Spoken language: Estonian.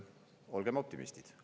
Olgem optimistid!